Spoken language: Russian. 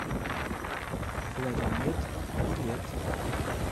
кларимед билет